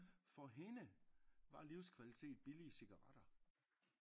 For hende var livskvalitet billige cigaretter